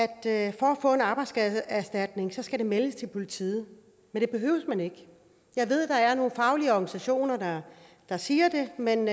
at få en arbejdsskadeerstatning skal melde det til politiet men det behøver man ikke jeg ved at der er nogle faglige organisationer der siger det men